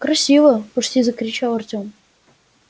красиво почти закричал артем